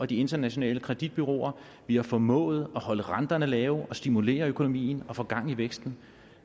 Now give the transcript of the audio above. de internationale kreditbureauer vi har formået at holde renterne lave og stimulere økonomien og få gang i væksten